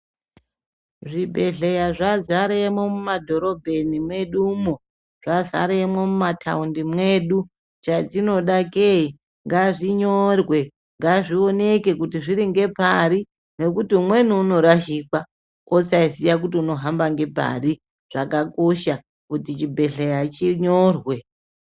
Zvibhehleya zvazaremwo mumadhorobheni mwedu mo zvazaremwo mumataundi mwedu chatinoda ke ngazvinyorwe ngazvionekwe kuti zviringepari nekuti umweni unorashikwa osaziya kuti unohamba ngepari zvakakosha kuti chibhehleya chinyorwe.